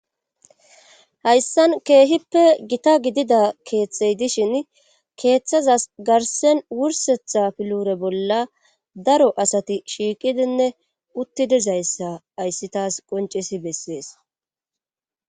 hayssan keehippe gita gidida keeththey dishin keeththazas garsen wursetha pilure bolla daro asati shiiqidinne uttidizayssa hayssi taas qoncesi bessees